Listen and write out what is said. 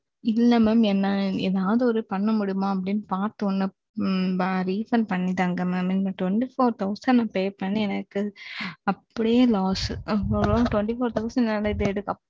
இல்ல mam இதில ஏதாவது ஒன்னு பண்ண முடியுமா அப்பிடிங்கிறத பாத்து எங்களுக்கு refund பண்ணி தாங்க mam. இதுக்கு ஆறு ஆயிரம் pay பண்ணி எனக்கு அப்பிடியே loss அப்பிடியே twenty four thousand வந்து.